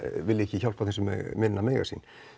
vilji ekki hjálpa þeim sem minna mega sín